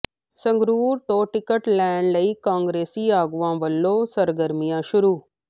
ਸੰਗਰੂਰ ਤੋਂ ਟਿਕਟ ਲੈਣ ਲਈ ਕਈ ਕਾਂਗਰਸੀ ਆਗੂਆਂ ਵੱਲੋਂ ਸਰਗਰਮੀਆਂ ਸ਼ੁਰੂ